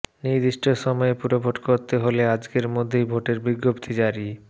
নির্দিষ্ট সময়ে পুরভোট করতে হলে আজকের মধ্যেই ভোটের বিজ্ঞপ্তি জারি